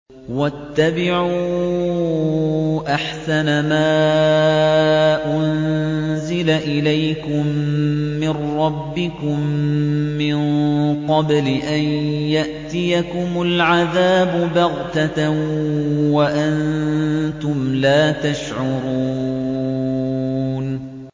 وَاتَّبِعُوا أَحْسَنَ مَا أُنزِلَ إِلَيْكُم مِّن رَّبِّكُم مِّن قَبْلِ أَن يَأْتِيَكُمُ الْعَذَابُ بَغْتَةً وَأَنتُمْ لَا تَشْعُرُونَ